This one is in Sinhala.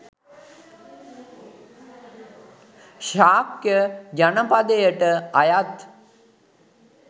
ශාක්‍ය ජනපදයට අයත්